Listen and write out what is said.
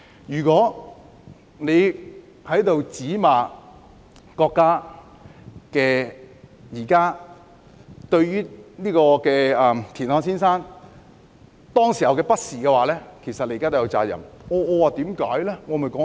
如果現在罵國家對田漢先生當時的不是，其實你們現在也有責任。